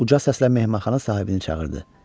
Uca səslə mehmanxana sahibini çağırdı.